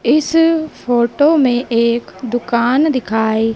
इस फोटो में एक दुकान दिखाई--